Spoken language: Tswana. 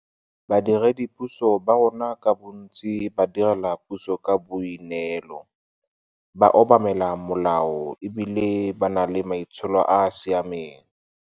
Badiredipuso ba rona ka bontsi ba direla puso ka boi neelo, ba obamela molao e bile ba na le maitsholo a a siameng.